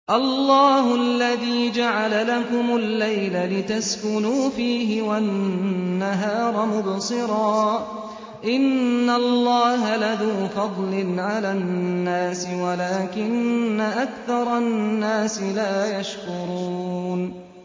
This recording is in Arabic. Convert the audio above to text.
اللَّهُ الَّذِي جَعَلَ لَكُمُ اللَّيْلَ لِتَسْكُنُوا فِيهِ وَالنَّهَارَ مُبْصِرًا ۚ إِنَّ اللَّهَ لَذُو فَضْلٍ عَلَى النَّاسِ وَلَٰكِنَّ أَكْثَرَ النَّاسِ لَا يَشْكُرُونَ